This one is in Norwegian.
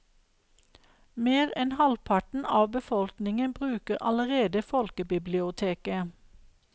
Mer enn halvparten av befolkningen bruker allerede folkebiblioteket.